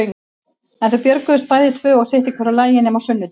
En þau björguðust bæði tvö og sitt í hvoru lagi nema á sunnudögum.